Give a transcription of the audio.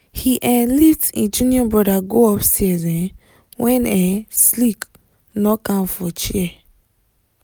he um lift him junior brother go upstairs um when um sleep knock am for chair